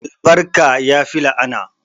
Albarka yafi la'ana